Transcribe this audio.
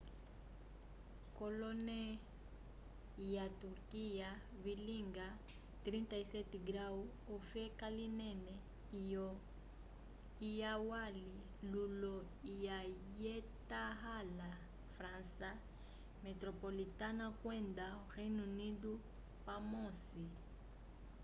kolone lya turquia vilinga 37º ofeka linene lyo lwali lulo lya syetahala frança metropolitana kwenda o reino unido pamosi